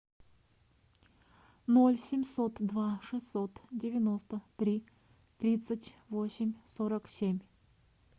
ноль семьсот два шестьсот девяносто три тридцать восемь сорок семь